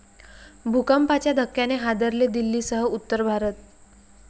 भूकंपाच्या धक्क्याने हादरले दिल्लीसह उत्तर भारत